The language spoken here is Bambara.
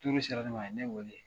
sera ne ma a ye ne weele